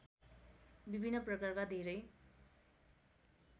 विभिन्न प्रकारका धेरै